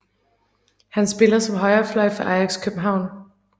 Han spiller som højre fløj for Ajax København